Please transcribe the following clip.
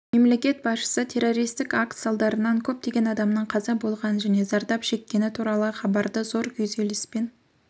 мемлекет басшысы террористік акт салдарынан көптеген адамның қаза болғаны және зардап шеккені туралы хабарды зор күйзеліспен